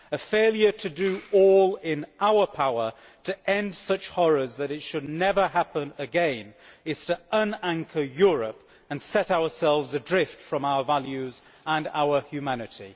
A failure to do all in our power to end such horrors so that this should never happen again is to unanchor Europe and set ourselves adrift from our values and our humanity.